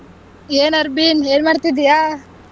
ಏನ್ ಅರ್ಬಿನ್ ಏನ್ ಮಾಡ್ತಿದೀಯಾ?